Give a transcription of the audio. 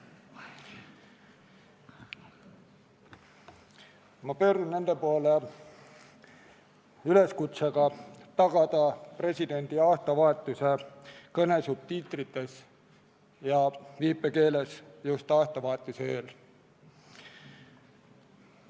Ma pöördun nende poole üleskutsega tagada presidendi aastavahetuse kõne subtiitritega ja viipekeeles just aastavahetuse eel.